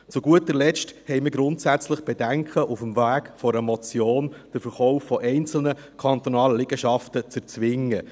Zu guter Letzt haben wir grundsätzliche Bedenken, auf dem Weg einer Motion den Verkauf von einzelnen kantonalen Liegenschaften zu erzwingen.